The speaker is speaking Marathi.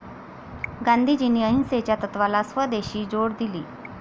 गांधीजींनी अहिंसेच्या तत्वाला स्वदेशची जोड दिली.